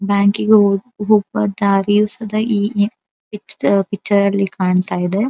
ಬ್ಯಾಂಕಿಗೆ ಹೋಗುವ ದಾರಿಯು ಸದ ಹೀಗೆ ಈದ್ ಪಿಕ್ಚರಲ್ಲಿ ಕಾಣತ್ತಾ ಇದೆ.